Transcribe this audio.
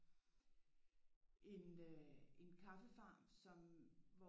En øh en kaffefarm som